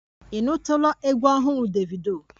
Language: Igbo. Ị nụtụla egwu ọhụrụ Davido?